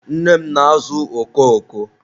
nne m na-azụ oko oko.